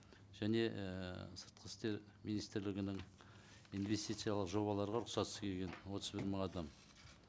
және ііі сыртқы істер министрлігінің инвестициялық жобалары бар рұқсатсыз келген отыз бір мың адам